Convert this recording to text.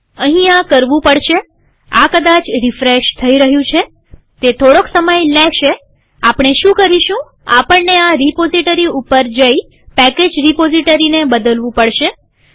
અહીં આ કરવું પડશે આ કદાચ રીફ્રેશ થઇ રહ્યું છેતે થોડોક સમય લેશે આપણે શું કરીશું આપણને આ રીપોઝીટરી ઉપર જઈપેકેજ રીપોઝીટરીને બદલવું પડશે